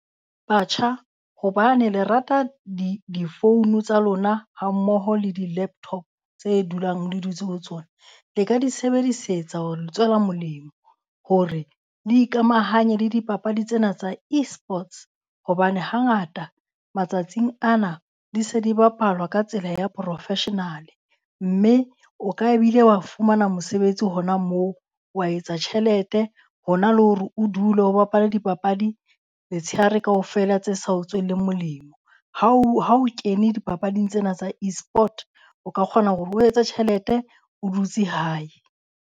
Batjha hobane le rata difounu tsa lona hammoho le di-laptop tse dulang le dutse ho tsona, le ka di sebedisetsa ho le tswela molemo. Hore le ikamahanye le dipapadi tsena tsa e-sports hobane hangata matsatsing ana di se di bapalwa ka tsela ya professional-e mme o ka bile wa fumana mosebetsi hona moo, wa etsa tjhelete. Hona le hore o dule o bapala dipapadi letshehare kaofela tse sa o tsweleng molemo. Ha o ha o kene dipapading tsena tsa e-sport, o ka kgona hore o etse tjhelete o dutse hae.